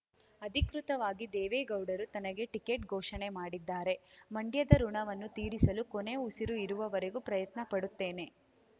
ಅಧಿಕೃತವಾಗಿ ದೇವೇಗೌಡರು ತನಗೆ ಟಿಕೆಟ್‌ ಘೋಷಣೆ ಮಾಡಿದ್ದಾರೆ ಮಂಡ್ಯದ ಋುಣವನ್ನು ತೀರಿಸಲು ಕೊನೆ ಉಸಿರು ಇರುವವರೆಗೂ ಪ್ರಯತ್ನಪಡುತ್ತೇನೆ